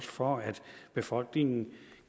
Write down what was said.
for at befolkningen